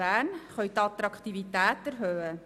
Bern können die Attraktivität erhöhen.